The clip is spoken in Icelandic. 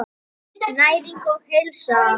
Næring og heilsa.